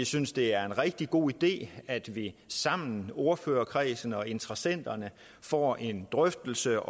synes det er en rigtig god idé at vi sammen i ordførerkredsen og blandt interessenterne får en drøftelse